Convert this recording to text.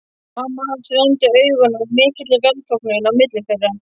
Mamma hans renndi augunum með mikilli velþóknun á milli þeirra.